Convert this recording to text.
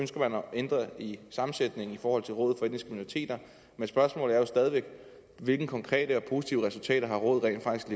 ændre i sammensætningen i forhold til rådet for etniske minoriteter men spørgsmålet er jo stadig væk hvilke konkrete og positive resultater rådet rent faktisk